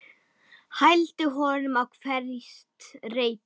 Hældi honum á hvert reipi.